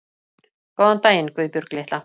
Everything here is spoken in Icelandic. Góðan daginn, Guðbjörg litla